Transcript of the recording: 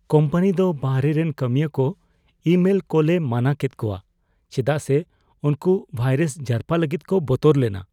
Company ᱫᱚ ᱵᱟᱦᱨᱮ ᱨᱮᱱ ᱠᱟᱹᱢᱤᱭᱟᱹ ᱠᱚ ᱤᱼᱢᱮᱞ ᱠᱳᱞᱮ ᱢᱟᱱᱟ ᱠᱮᱫ ᱠᱚᱣᱟ ᱪᱮᱫᱟᱜ ᱥᱮ ᱩᱱᱠᱩ ᱵᱷᱟᱭᱨᱟᱥ ᱡᱟᱨᱯᱟ ᱞᱟᱹᱜᱤᱫ ᱠᱚ ᱵᱚᱛᱚᱨ ᱞᱮᱱᱟ ᱾